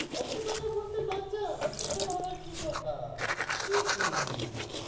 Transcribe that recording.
সত্য়ি কথা বলতে লজ্জা? সেটাও আবার কি কথা? একি?